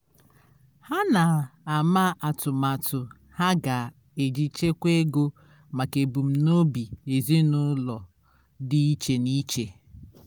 ha na-ama atụmatụ ha ga-eji chekwa ego maka ebumnobi ezịnụlọ dị iche n'iche